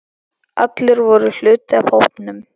Allir voru hluti af hópnum.